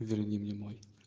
верни мне мой